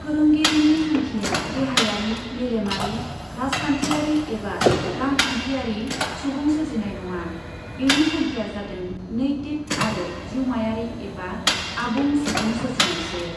फोरोंगिरिनि थांखिया देहायारि, मेलेमारि, राजखान्थियारि एबा रांखान्थियारि सुबुं सोरजिनाय नङा, बेनि थांखिया जादों नैतिक आरो जिउमायारि एबा आबुं सुबुं सोरजिनायसो।